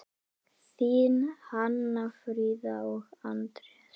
Þín Hanna Fríða og Anders.